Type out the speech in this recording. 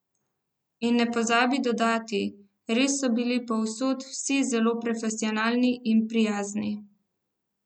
In ne pozabi dodati: "Res so bili povsod vsi zelo profesionalni in prijazni.